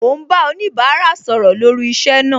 Mo ń bá oníbárà sọ̀rọ̀ lórí iṣẹ́ náà